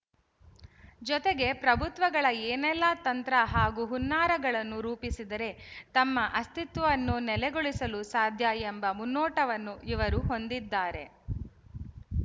ಜೊತೆಗೆ ಪ್ರಭುತ್ವಗಳು ಏನೆಲ್ಲ ತಂತ್ರ ಹಾಗೂ ಹುನ್ನಾರಗಳನ್ನು ರೂಪಿಸಿದರೆ ತಮ್ಮ ಅಸ್ತಿತ್ವವನ್ನು ನೆಲೆಗೊಳಿಸಲು ಸಾಧ್ಯ ಎಂಬ ಮುನ್ನೋಟವನ್ನು ಇವರು ಹೊಂದಿದ್ದಾರೆ